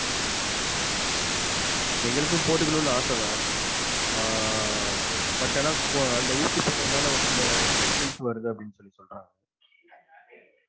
உம் எங்களுக்கும் போட்டுக்கனும்னு ஆசை தான் ஆஹ் but ஆனா அந்த ஊசி போட்றதுனால ஒரு சில infections வருதுன்னு சொல்றாங்க.